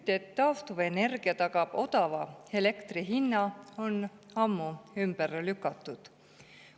Müüt, et taastuvenergia tagab odava elektri hinna, on ammu ümber lükatud.